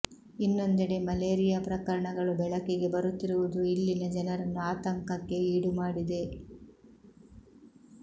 ಇನ್ನೊಂದೆಡೆ ಮಲೇರಿಯಾ ಪ್ರಕರಣಗಳು ಬೆಳಕಿಗೆ ಬರುತ್ತಿರುವುದು ಇಲ್ಲಿನ ಜನರನ್ನು ಆತಂಕಕ್ಕೆ ಈಡುಮಾಡಿದೆ